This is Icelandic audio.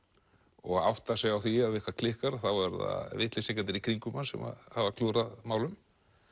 og átta sig á því ef eitthvað klikkar þá eru það vitleysingarnir í kringum hann sem hafa klúðrað málum